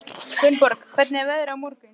Gunnborg, hvernig er veðrið á morgun?